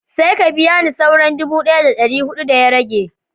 Sai ka biya ni sauran dubu ɗaya da dari hudu da ya rage